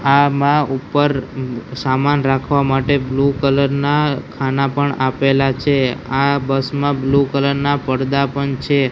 આમાં ઉપર સામાન રાખવા માટે બ્લુ કલર ના ખાના પણ આપેલા છે આ બસ મા બ્લુ કલર ના પરદા પણ છે.